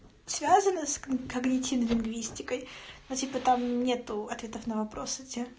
связано с когнитивной лингвистикой ну типо там нету ответов на вопросы те